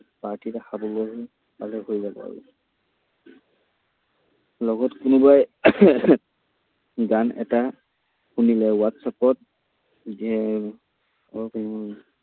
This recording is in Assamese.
Party এটা খাবলৈ পালে হৈ যাব আৰু। লগত কোনোবাই গান এটা শুনি লয়। হোৱাটচএপত দিয়ে